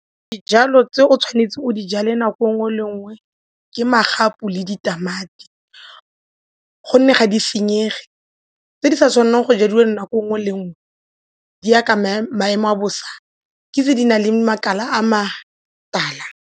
Dijalo tse o tshwanetseng o di jale nako e nngwe le e nngwe ke magapu le ditamati gonne ga di senyege tse di sa tshwanelang go jewe nako e nngwe le e nngwe di ya ka maemo a bosa ke tse di na le makala a matala.